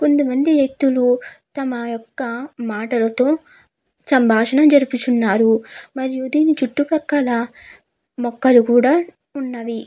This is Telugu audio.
కొంత మంది వ్యక్తులు తమ యొక్క మాటలతో సంభాషణ జరుపుచున్నారు మరియు దీని చుట్టూ పక్కల మొక్కలు కూడా ఉన్నవి.